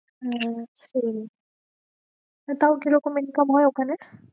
তো তাও কি রকম income হয়ে ওখানে?